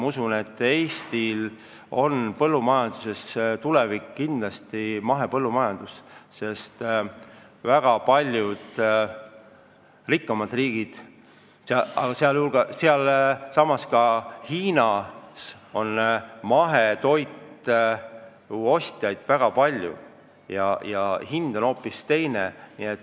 Ma usun, et Eesti põllumajanduse tulevik on kindlasti mahepõllumajandus, sest väga paljudes rikkamates riikides ja ka Hiinas, kus on väga suur turg, on mahetoidu hind hoopis teine.